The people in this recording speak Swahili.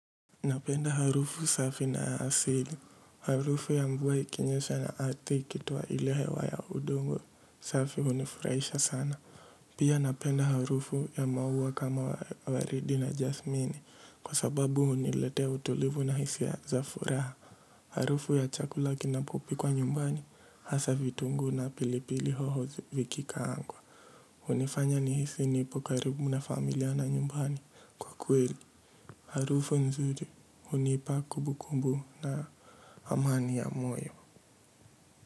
Napenda harufu safi na asili. Harufu ya mvua ikinyesha na ardhi ikitioa ile he wa ya udongo safi hunifurahisha sana. Pia napenda harufu ya maua kama waridi na jasmini kwa sababu huniletea utulivu na hisia za furaha. Harufu ya chakula kinapopikwa nyumbani hasa vitunguu na pilipili hoho vikikaangwa hUnifanya ni hisi nipokaribu na familia na nyumbani. Kwa kweli, harufu nzuri, hunipa kumbukumbu na amani ya mwoyo.